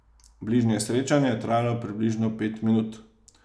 Bližnje srečanje je trajalo približno pet minut.